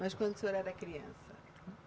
Mas quando o senhor era criança?